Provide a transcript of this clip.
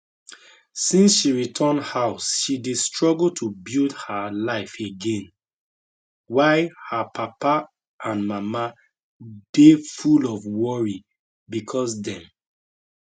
since she return house she dey struggle to build her life again while her papa and mama dey full of worry becos dem